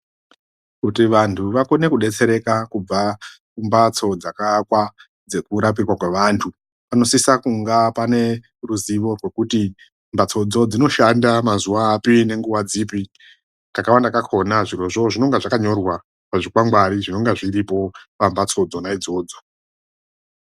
Kuti vantu vakone kudetsereka kubva kumphatso dzakaakwa dzekudetsereka kweanhu, panosise kunga pane ruzivo rwekuti mbatsodzo dzinoshanda mazuwa api nenguva dzipi. Kakawanda kakhona zvirozvo zvinonga zvakanyorwa pazvikwangwari zvinonga zviripo pamphatso dzona idzodzo.